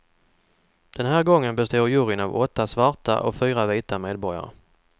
Den här gången består juryn av åtta svarta och fyra vita medborgare.